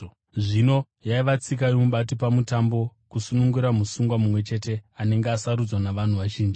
Zvino yaiva tsika yomubati pamutambo kusunungura musungwa mumwe chete anenge asarudzwa navanhu vazhinji.